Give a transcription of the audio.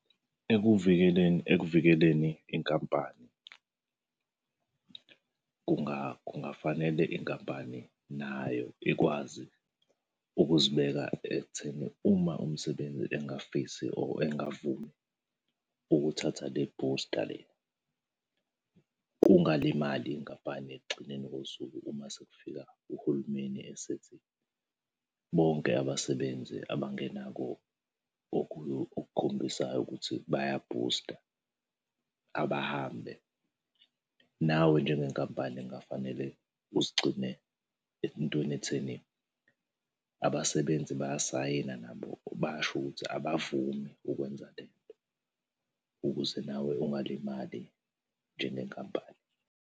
Ekuvikeleni ekuvikeleni inkampani, kungafanele inkampani nayo ikwazi ukuzibeka ekutheni uma umsebenzi engafisi or engavumi ukuthatha le booster le, kungalimali inkampani ekugcineni kosuku uma sekufika uhulumeni esethi, bonke abasebenzi abangenako okukhombisayo ukuthi baya-booster, abahambe. Nawe njengenkampani kungafanele uzigcine entweni etheni, abasebenzi bayasayina nabo basho ukuthi abavumi ukwenza le nto, ukuze nawe ungalimali njengenkampani.